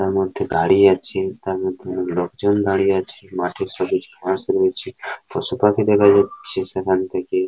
তার মধ্যে গাড়ি আছে তার মধ্যে লোকজন দাঁড়িয়ে আছে মাঠে সবুজ ঘাস রয়েছে পশু পাখি দেখা যাচ্ছে সেখান থেকে--